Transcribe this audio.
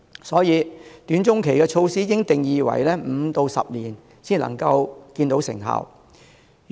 所以，"短中期措施"應界定為5至10年便可看到成效的措施。